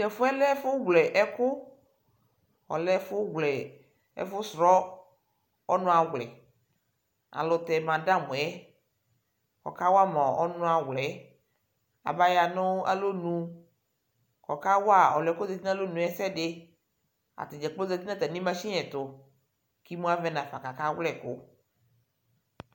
Tʋ ɛfʋ yɛ lɛ ɛfʋwlɛ ɛkʋ Ɔlɛ ɛfʋwlɛ, ɛfʋsrɔ ɔnʋawlɛ Alʋ tɛ madamʋ yɛ, ɔkawa ma ɔnʋawlɛ yɛ, abaya nʋ alɔnu Kʋ ɔkawa ɔlʋ yɛ kʋ ɔzati nʋ alɔnu yɛ ɛsɛ dɩ Ata dza kplo zati nʋ atamɩ masini ɛtʋ kʋ imu avɛ nafa kʋ akawlɛ ɛkʋ